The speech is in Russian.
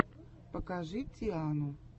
покажи тиану